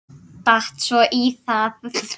Datt svo í það.